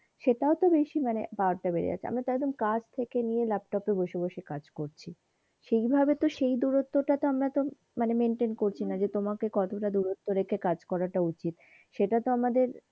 সেইটাও তো বেশি মানে power টা বেড়ে যাচ্ছে একদম কাছ থেকে নিয়ে ল্যাপটপ এ বসে বসে কাজ করছি সেই ভাবে তো সেই দূরত্ব টা তো আমরা তো মানে maintain করছি না যে তোমাকে কতটা দূরত্ব রেখে কাজ করাটা উচিত সেইটা তো আমাদের,